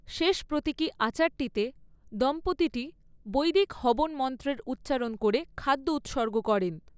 শেষ প্রতীকী আচারটিতে, দম্পতিটি বৈদিক হবন মন্ত্রের উচ্চারণ করে খাদ্য উৎসর্গ করেন।